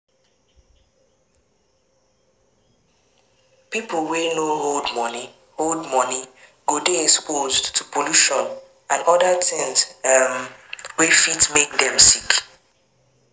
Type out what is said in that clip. Pipo wey no hold money hold money go dey exposed to pollution and oda things um wey fit make dem sick